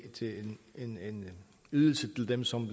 en ydelse til dem som